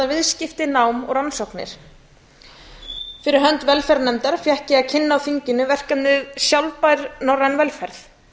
viðskipti nám og rannsóknir fyrir hönd velferðarnefndar fékk ég að kynna á þinginu verkefnið sjálfbær norræn velferð